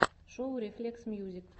шоу рефлексмьюзик